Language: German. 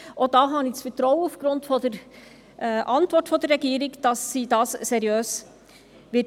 Auch da habe ich aufgrund der Antwort der Regierung das Vertrauen, dass sie dies seriös tun wird.